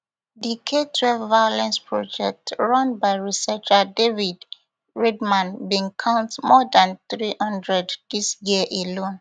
di ktwelve violence project run by researcher david riedman bin count more dan three hundred dis year alone